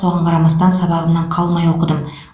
соған қарамастан сабағымнан қалмай оқыдым